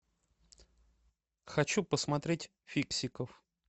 хочу посмотреть фиксиков